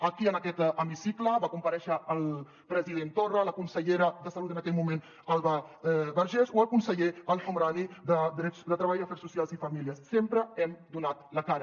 aquí en aquest hemicicle va comparèixer el president torra la consellera de salut en aquell moment alba vergés o el conseller el homrani de treball afers socials i famílies sempre hem donat la cara